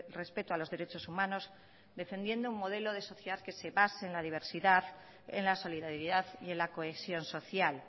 respeto a los derechos humanos defendiendo un modelo de sociedad que se base en la diversidad en la solidaridad y en la cohesión social